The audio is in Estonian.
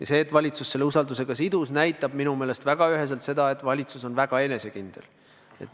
Ja see, et valitsus selle usaldusega sidus, näitab minu meelest üheselt seda, et valitsus on väga enesekindel.